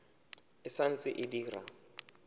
e sa ntse e dira